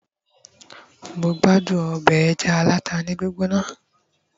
mo gbádùn obe eja alata ni gbigbona